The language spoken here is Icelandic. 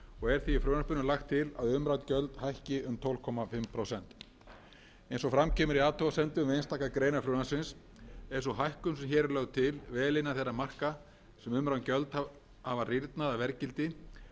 er því í frumvarpinu lagt til að umrædd gjöld hækki um tólf og hálft prósent eins og fram kemur í athugasemdum við einstakar greinar frumvarpsins er sú hækkun sem hér er lögð til vel innan þeirra marka sem umrædd gjöld hafa rýrnað að verðgildi ef miðað er við